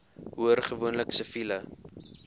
hoor gewoonlik siviele